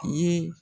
Ye